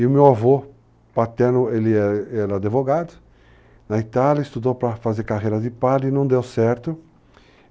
E o meu avô paterno, ele era advogado na Itália, estudou para fazer carreira de padre, e não deu certo.